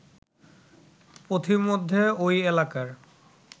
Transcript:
পথিমধ্যে ওই এলাকার